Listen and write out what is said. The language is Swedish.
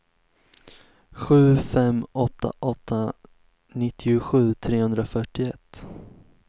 sju fem åtta åtta nittiosju trehundrafyrtioett